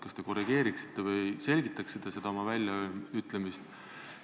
Kas te korrigeeriksite või selgitaksite seda väljaütlemist?